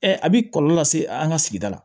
a bi kɔlɔlɔ lase an ka sigida la